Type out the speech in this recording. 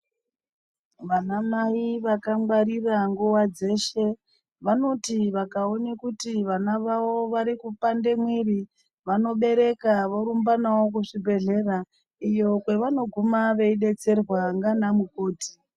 Vanamai vakangwarira nguwa dzeshe vanoti vakaona kuti vana vavo varikupande mwiri vanobereka vorumba navo kuzvibhedhlera iyo kwavanoguma veidetserwa ndiana mukoti.